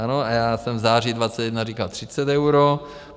A já jsem v září 2021 říkal 30 eur.